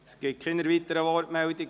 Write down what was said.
Es gibt keine weiteren Wortmeldungen.